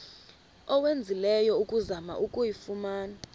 owenzileyo ukuzama ukuyifumana